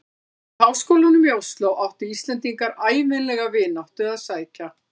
Og í háskólann í Osló áttu Íslendingar ævinlega vináttu að sækja.